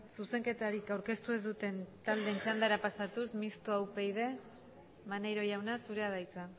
zuzenketarik aurkeztu ez duten taldeen txandara pasatuz mistoa upyd maneiro jauna zurea da hitza